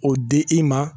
O di i ma